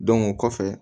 o kɔfɛ